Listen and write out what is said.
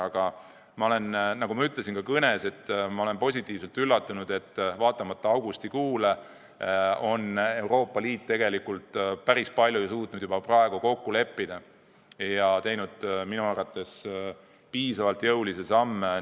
Aga nagu ma ütlesin ka oma kõnes, ma olen positiivselt üllatunud, et vaatamata augustikuule on Euroopa Liit tegelikult päris palju suutnud juba praegu kokku leppida ja astunud minu arvates piisavalt jõulisi samme.